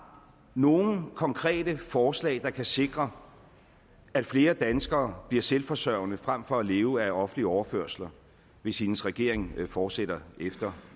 nogle konkrete forslag der kan sikre at flere danskere bliver selvforsørgende frem for at leve af offentlige overførsler hvis hendes regering fortsætter efter